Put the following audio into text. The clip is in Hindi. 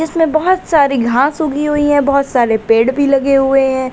इसमें बोहोत सारी घास उगी हुई है बोहोत सारे पेड़ भी लगे हुए ऐं ।